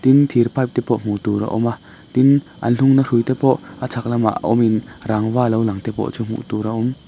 tin thir pipe te pawh hmuh tur a awm a tin an hungna hrui te pawh a chhak lamah awmin rangva lo lang te pawh hmuh tur a awm.